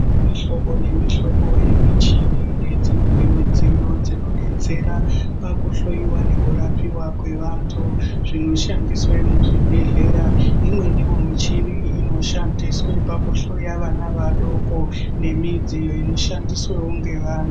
Mihlobo nemihlobo yemichi nemimwe midziyo dzinodetsera pakuhloyiwa nekurapiwa kwevantu zvinoshandiswa muzvibhedhlera kune imwe michini inoshandiswa pakuhloya vana vadoko nemidziyo inoshandiswawo nevamwe.